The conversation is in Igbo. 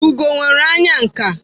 Ugo nwere anya nka.